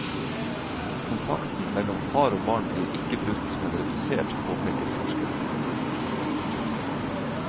Kontakten mellom far og barn blir ikke brutt, men redusert, påpeker forskeren.